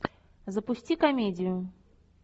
запусти комедию